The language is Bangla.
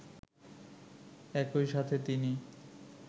একই সাথে তিনি